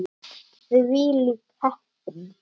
Þvílík heppni!